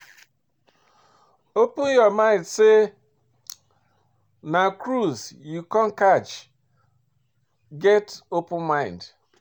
Open your mind sey na cruise you come catch, get open mind